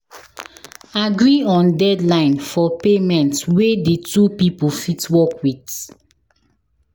Agree on deadline for payment wey di two pipo fit work with